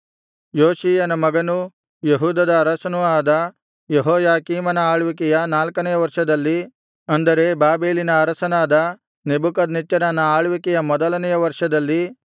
ಯೋಷೀಯನ ಮಗನೂ ಯೆಹೂದದ ಅರಸನೂ ಆದ ಯೆಹೋಯಾಕೀಮನ ಆಳ್ವಿಕೆಯ ನಾಲ್ಕನೆಯ ವರ್ಷದಲ್ಲಿ ಅಂದರೆ ಬಾಬೆಲಿನ ಅರಸನಾದ ನೆಬೂಕದ್ನೆಚ್ಚರನ ಆಳ್ವಿಕೆಯ ಮೊದಲನೆಯ ವರ್ಷದಲ್ಲಿ